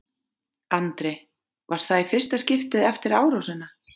Andri: Var það í fyrsta skiptið eftir árásina?